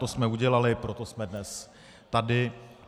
To jsme udělali, proto jsme dnes tady.